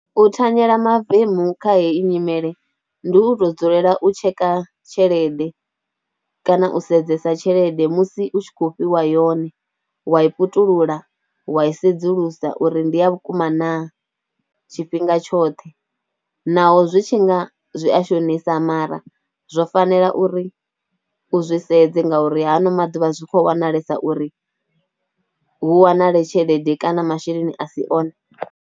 U thanyela mavemu kha heyi nyimele ndi u to dzulela u tsheka tshelede kana u sedzesa tshelede musi u tshi khou fhiwa yone, wa i pututula, wa i sedzulusa uri ndi ya vhukuma naa tshifhinga tshoṱhe naho zwi tshi nga zwi a shonisa, mara zwo fanela uri u zwi sedze ngauri ha a no maḓuvha zwi khou wanalesa uri hu wanale tshelede kana masheleni a si one.